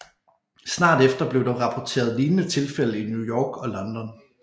Snart efter blev der rapporteret lignende tilfælde i New York og London